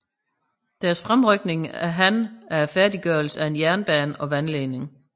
Deres fremrykning af han af færdiggørelsen af en jernbane og vandledning